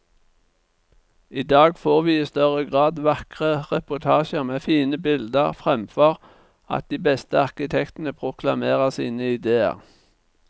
I dag får vi i større grad vakre reportasjer med fine bilder, fremfor at de beste arkitektene proklamerer sine idéer.